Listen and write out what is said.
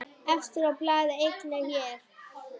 Efstur á blaði einnig hér.